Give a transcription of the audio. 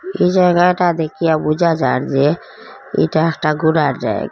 এই জায়গাটা দেখিয়া বুঝা যার যে এটা একটা ঘুরার জায়--